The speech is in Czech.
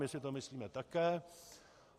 My si to myslíme také.